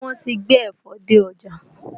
Ṣé wọ́n ti gbé ẹ̀fọ dé ọjà?